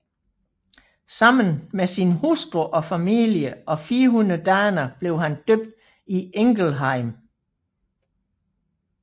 Sammen med sin hustru og familie og 400 daner blev han døbt i Ingelheim